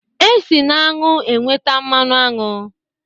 E si na aṅụ enweta mmanụ aṅụ